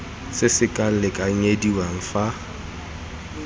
se se sa lekanyediwang fa